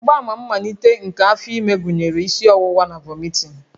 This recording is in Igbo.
Mgbaàmà mmalite nke afọ ime gụnyere isi ọwụwa na vomiting